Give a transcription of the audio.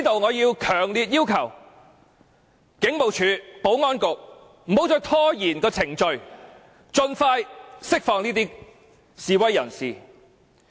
我強烈要求警務處和保安局不要再拖延，盡快釋放這些示威人士。